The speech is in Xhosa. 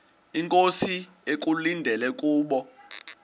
inkosi ekulindele kubo